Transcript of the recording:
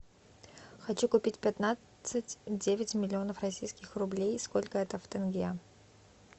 хочу купить пятнадцать девять миллионов российских рублей сколько это в тенге